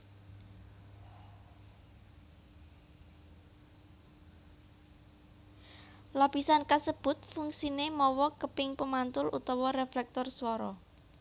Lapisan kasebut fungsie mawa keping pemantul utawa reflektor swara